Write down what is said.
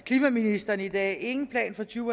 af klimaministeren i dag ingen plan for to